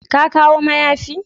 Ka kawo mayafi?